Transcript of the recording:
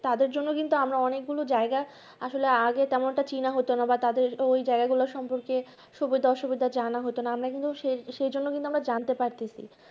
তাদের জন্য কিন্তু আমরা অনেক গুলো জায়গা আসলে আগে তেমন একটা চীন হতোনা বা তাদের ওই জায়গা গুলোই সঙ্গে সুবিধা অসুবিধা জানা হতোনা ওদের জন্য কিন্তু আমরা জানতে পারছি